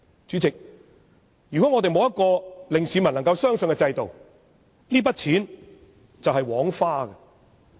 主席，如果沒有一個能令市民相信的制度，這筆錢便是枉花。